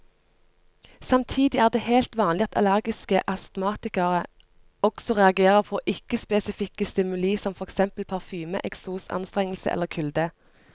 Samtidig er det helt vanlig at allergiske astmatikere også reagerer på ikke spesifikke stimuli som for eksempel parfyme, eksos, anstrengelse eller kulde.